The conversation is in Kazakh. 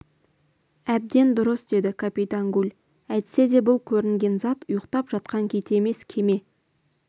әбден дұрыс деді капитан гульәйтсе де бұл көрінген зат ұйықтап жатқан кит емес кеме